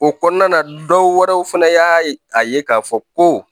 O kɔnɔna na dɔwɛrɛw fɛnɛ y'a ye k'a fɔ ko